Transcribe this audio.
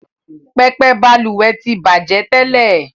Pẹpẹ Balùwè ti bajẹ tẹ́lẹ̀